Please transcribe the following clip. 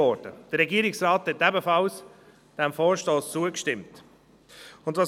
Der Regierungsrat stimmte diesem Vorstoss ebenfalls zu.